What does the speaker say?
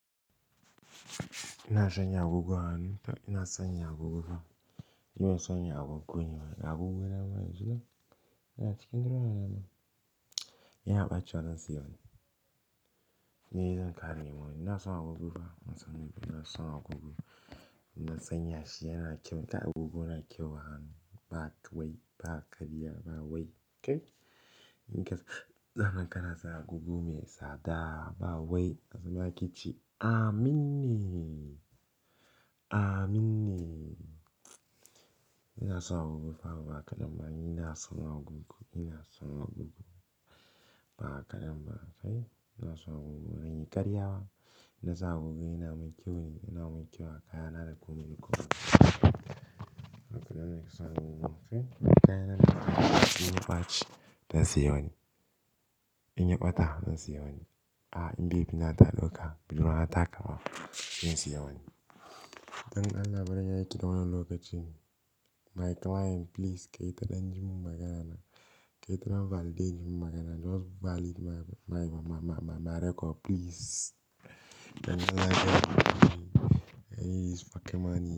Ina san ya agogu hannu, ina son ya gogu fa. Ina san ya agogu guniwa, a gogu na ban zuwa. Ina cikin doro na ma. Yana ɓaci wani siyon. Ni zan kare mu. Ina son a gogu fa, ina son a gogu. Ina son ya shi yana kyau. Me ka gugu na kyau hannu, ba kai, ba karya, ba wai. Okay? Ni kai, zanan ka na sa gugu mai tsada, ba wai. A sama ki ce, "Amin ne. Amin ne." Ina son a gogu fa ba kadan ba. Ina son a gogu, ina son a gogu ba kadan ba. Okay? Ina son a gogu bazan yi karya ba. Ina sa gogu yana mun kyau ne, yana mun kyau. Kaya na da kuma ni kuma. Ina son a gogu. Okay? Kaya na da kuma ni kuma. Dan siyon. In ya ɓata, dan siya wani. A, in bai fi nata loka, biyu na taka ma, dan siyon. Dan na bari na yi kidan wani lokacin. My client please kai ta dan ji mun magana na. Kai ta validate ji mun magana. Just valid my, my, my, my record please. Dan na gani, I need this fucking money.